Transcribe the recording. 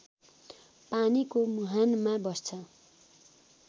पानीको मुहानमा बस्छ